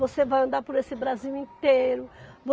Você vai andar por esse Brasil inteiro.